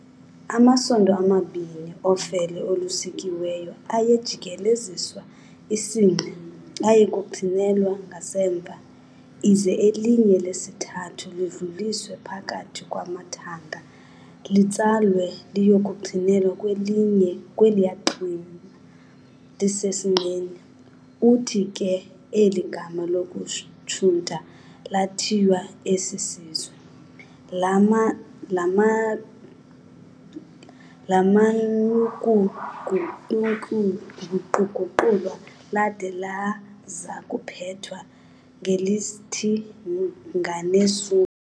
Amasondo amabini ofele olusukiweyo ayejikeleziswa isinqe aye kuqhinelwa ngasemva, ize elinye lesithathu lidluliswe phakathi kwamathanga litsalwe liyokuqhinelwa kweliya qhina lisesinqeni. Uthi ke eli gama lokushunta laathiywa esi sizwe, laman'ukuguquguqulwa, lada lazakuphethwa ngelithi "nganeSuthu."